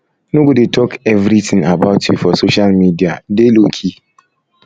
no go dey talk everything about you for social media dey low key